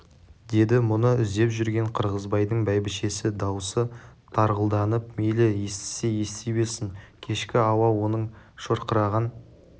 деді мұны іздеп жүрген қырғызбайдың бәйбішесі дауысы тарғылданып мейлі естісе ести берсін кешкі ауа оның шырқыраған